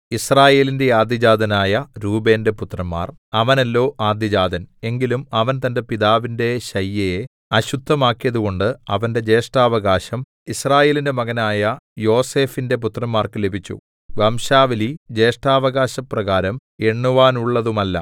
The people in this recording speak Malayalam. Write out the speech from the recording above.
യിസ്രായേലിന്റെ ആദ്യജാതനായ രൂബേന്റെ പുത്രന്മാർ അവനല്ലോ ആദ്യജാതൻ എങ്കിലും അവൻ തന്റെ പിതാവിന്റെ ശയ്യയെ അശുദ്ധമാക്കിയതുകൊണ്ട് അവന്റെ ജ്യേഷ്ഠാവകാശം യിസ്രായേലിന്റെ മകനായ യോസേഫിന്റെ പുത്രന്മാർക്ക് ലഭിച്ചു വംശാവലി ജ്യേഷ്ഠാവകാശപ്രകാരം എണ്ണുവാനുള്ളതുമല്ല